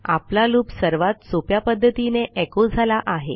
आपला लूप सर्वात सोप्या पध्दतीने एचो झाला आहे